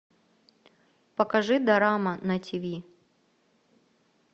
покажи дорама на тиви